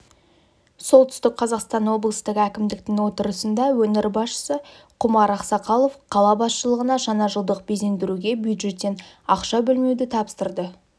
солтүстік қазақстан облыстық әкімдіктің отырысында өңір басшысы құмар ақсақалов қала басшылығына жаңажылдық безендіруге бюджеттен ақшабөлмеуді тапсырды